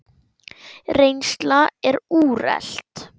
Reynsla er úrelt.